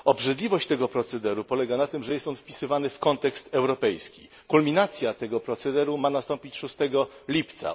Obrzydliwość tego procederu polega na tym, że jest on wpisywany w kontekst europejski kulminacja tego procederu ma nastąpić 6 lipca.